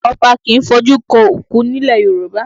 Ọba kì í fojú kan òkú nílẹ̀ Yorùbá